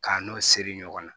K'a n'o siri ɲɔgɔn na